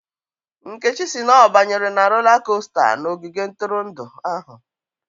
Nkechi si na ọ banyere na rola kosta n'ogige ntụrụndụ ahụ